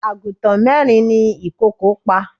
Àgùntàn mẹ́rin ni ìkòkò pa.